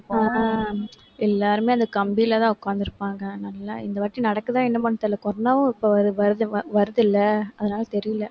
அஹ் அஹ் எல்லாருமே, அந்த கம்பியிலதான் உட்கார்ந்து இருப்பாங்க. நல்லா இந்தவாட்டி நடக்குதா? என்னமான்னு தெரியலே. corona வும் இப்ப வரு~ வருது~ வருதுல்ல? அதனால, தெரியலே.